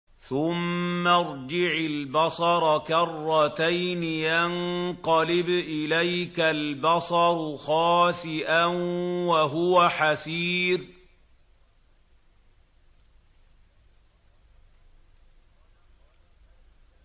ثُمَّ ارْجِعِ الْبَصَرَ كَرَّتَيْنِ يَنقَلِبْ إِلَيْكَ الْبَصَرُ خَاسِئًا وَهُوَ حَسِيرٌ